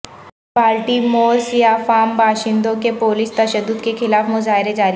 بالٹی مور سیاہ فام باشندوں کے پولیس تشدد کے خلاف مظاہرے جاری